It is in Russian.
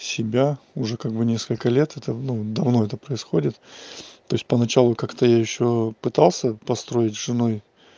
себя уже как бы несколько лет это ну это давно происходит то есть поначалу как-то я ещё пытался построить с женой